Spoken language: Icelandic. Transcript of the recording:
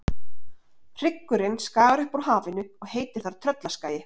Hryggurinn skagar upp úr hafinu og heitir þar Tröllaskagi.